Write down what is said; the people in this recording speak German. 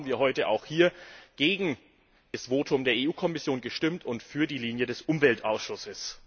ist. Deswegen haben wir heute auch hier gegen das Votum der EU Kommission gestimmt und für die Linie des Umweltausschusses.